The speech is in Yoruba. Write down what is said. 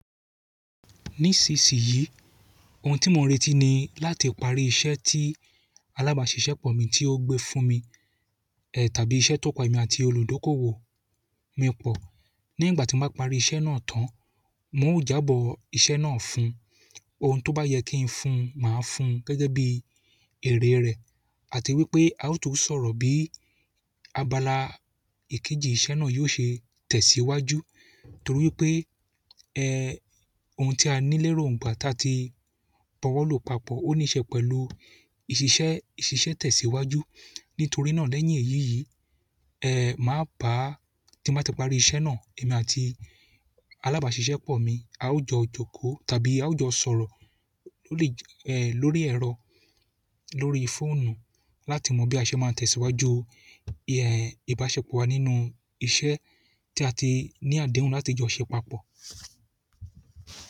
Nísinsìnyí, ohun tí mò n retí ni láti parí iṣẹ́ tí alábàáṣiṣẹ́ pọ̀ mi tí ó gbé fún mi, tàbí iṣẹ́ tó pa èmi àti olùdókòwò mi pọ̀. Ní ìgbà tí mo bá parí iṣẹ́ náà tán, oun o jábọ̀ iṣẹ́ náà fún un. Ohun tó bá yẹ kí n fún máa fún gẹ́gẹ́ bí èrè rẹ̀ àti wípé a ó tún sọ̀rọ̀ bí abala èkejì iṣẹ́ náà yóò ṣe tẹ̀síwájú. Torí pé ohun tí a ní lérò nígbà ta tí bọ̀wọ̀lu papọ̀, ó nííṣe pẹ̀lú ìṣiṣẹ́, ìṣiṣẹ́ tẹ̀síwájú. Nítorí náà lẹ́yìn eyii, maa baa, ti n ba ti parí iṣẹ́ náà emi àti alábàáṣiṣẹ́ pọ̀ mi, a ó jọ jókòó tàbí a ó jọ sọ̀rọ̀ lórí ẹ̀rọ, lórí fóònù láti mọ bí a ṣe máa tẹ̀síwájú ìbáṣepọ̀ wa nínú iṣẹ́ tí a ti ní àdéhùn láti jọ ṣẹ papọ̀.